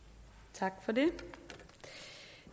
som